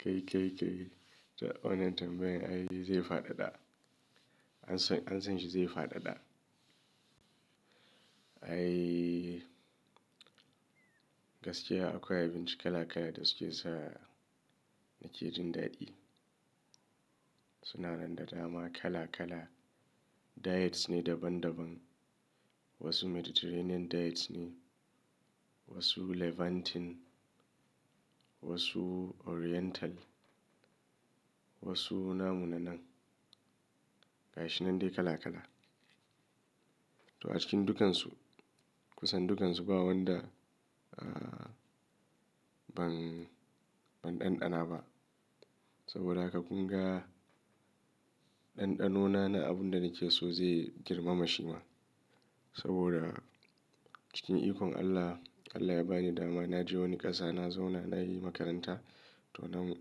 Kai, kai, kai to wannan tambayan ai zai fadada. An san shi zai fadada. Ai gaskiya akwai abinci kala kala da suke sa na ke jin daɗi. Sunan da dama kala kala. Diets ne daban daban. Wasu Mediterranean diets ne, wasu Levantine, wasu Oriental, wasu namu na nan. Ga shi nan dai kala kala. To a cikin dukansu, kusan dukansu ba wanda aaa ban, ban ɗanɗana ba. Saboda haka kun ga ɗanɗanona na abun da nake so zai girma mashi ma. Saboda cikin ikon Allah, Allah ya ba ni dama na je wani ƙasa, na zauna, na yi makaranta to nan,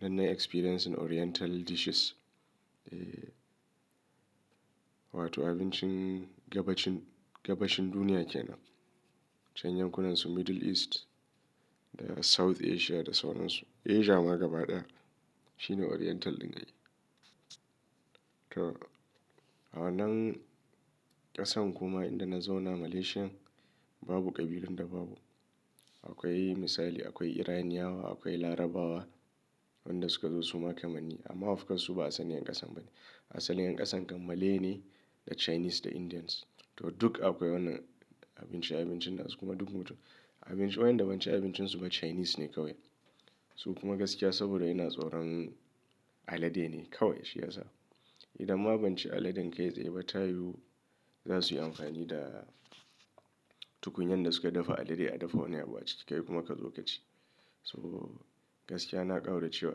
nan nayi experience oriental dishes. Eeee! Wato abincin gabacin, gabashin duniya kenan. Can yankunansu Middle East da South Asia da sauran su. Asia ma gaba ɗaya shine oriental ɗin ai. To a wannan ƙasan kuma inda na zauna Malaysia babu kabilun da babu. Akwai misali, akwai Iranianawa, akwai Larabawa, wanda suka zo su ma kamanni. Amma ofcourse su ba asalin ƴan ƙasan ba ne. Asalin ƴan ƙasan kan Malay ne da Chinese da Indians. To duk akwai wannan abinci, abincin nasu kuma duk mutu. Abinci wayanda ban ci abincin su ba Chinese ne kawai. Su kuma gaskiya saboda ina tsoron alade ne kawai shi ya sa. Idan ma ban ci aladen kai tsaye ba ta yiwu, za su yi amfani da tukunyan da suka dafa alade a dafa wani abu a ciki kai kuma ka zo ka ci. To gaskiya na ƙaura cewa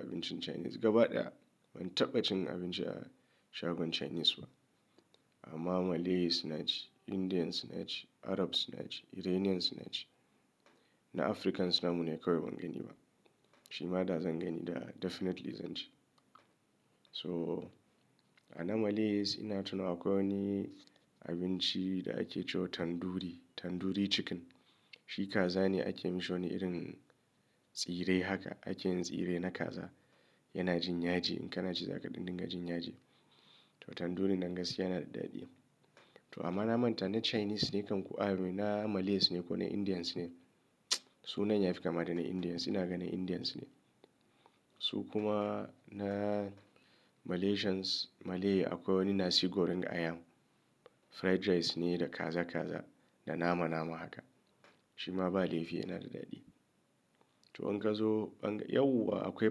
abincin Chinese gaba ɗaya ban taɓa cin abinci a shagon Chinese ba. Amma Malays na ci, Indians na ci, Arabs na ci, Iranians na ci na Africans namu ne kawai ban gani ba. Shi ma da zan gani da definitely zan ci. So a na Malays ina tunawa akwai wani abinci da ake cewa Tandoori, Tandoori Chicken. Shi kaza ne ake mishi wani irin tsire haka. Ake yin tsire na kaza. Yana jin yaji in kana ci za ka da dinga jin yaji. To Tandoori nan gaskiya yana da daɗi. To amma na manta ne Chinese ne kan ku a i mean na Malays ne ko na Indians ne. Sunan ya fi kama da na Indians. Ina ganin Indians ne. Su kuma na Malaysians Malay akwai wani Nasi Goreng Ayam. Fried rice ne da kaza kaza da nama nama haka. Shi ma ba laifi yana da daɗi. To in ka zo ɓanga, yauwa akwai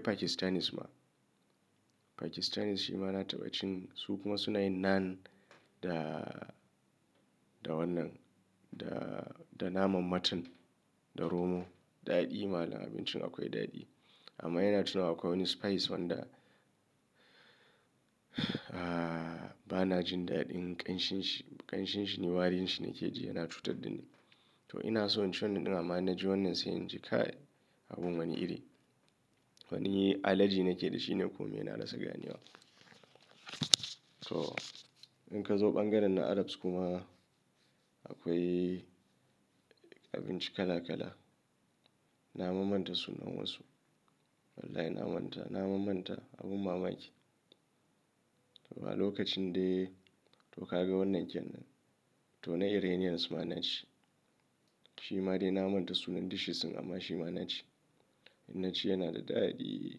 Pakistanis ma. Pakistanis shi ma na taɓa cin su kuma suna yin naan da, da wannan da, da naman mutton da romo. Daɗi mallam abincin akwai daɗi. Amma ina tunawa akwai wani spice wanda aaaa bana jin daɗin ƙanshinshi. Ƙanshinshi ne warin shi ne ke ji yana cutar da ni. To ina so in ci wannan ɗin amma na ji wannan sai in ji kai abun wani iri. Wani allergy nake da shi ne kome na rasa ganewa. To in ka zo ɓangaren na Arabs kuma akwai abinci kala kala. Na mammanta sunan wasu. Wallahi na manta, na mammanta abun mamaki. Ba lokacin dai to ka ga wannan kenan. To na Iranians ma na ci. Shi ma dai na manta sunan dishes din amma shi ma na ci. In na ci yana da daɗi.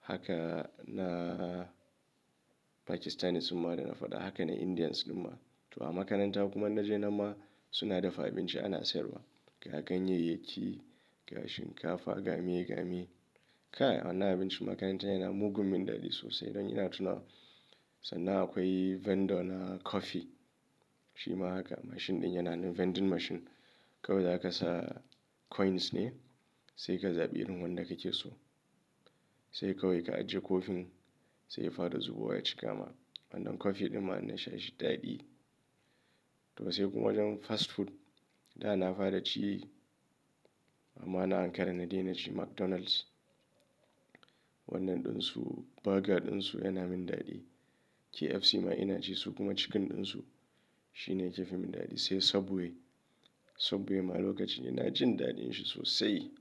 Haka na Pakistanis su ma da na faɗa haka na Indians duma. To a makaranta kuma in naje nanma suna dafa abinci ana sayarwa. Ga ganyayyaki, ga shinkafa, gameye gameye. Kai a wannan abincin makarantar yana mugun min daɗi sosai don ina tunawa sannan akwai vendor na coffee. Shi ma haka machine ɗin yana nan vending machine. Kawai za ka sa coins ne sai ka zaɓi irin wanda kake so. Sai kawai ka ajiye coffee sai ya fara zubo wa ya cikama. Wannan coffee dinma in na sha shi daɗi. To sai kuma wajen fast food da na fara ci amma na Ankara na dai na ci McDonald's. Wannan ɗinsu burger ɗinsu yana min daɗi. KFC ma ina ci su kuma chicken ɗinsu shine yake fi min daɗi. Sai Subway, Subway ma lokacin ina jin daɗin shi sosai.